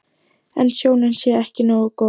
En sjónin sé ekki nógu góð.